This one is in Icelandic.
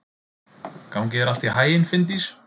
Gangi þér allt í haginn, Finndís.